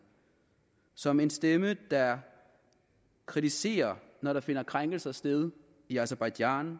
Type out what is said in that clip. som en stemme der kritiserer når der finder krænkelser sted i aserbajdsjan